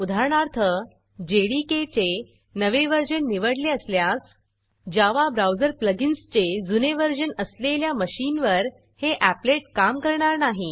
उदाहरणार्थ जेडीके चे नवे व्हर्जन निवडले असल्यास जावा ब्राऊजर प्लगिन्सचे जुने व्हर्जन असलेल्या मशीनवर हे एपलेट काम करणार नाही